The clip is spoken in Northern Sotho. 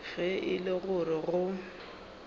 ge e le gore go